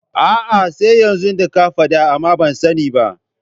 Aa sai yanzu da ka faɗa amma ban sani ba